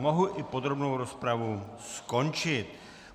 Mohu i podrobnou rozpravu skončit.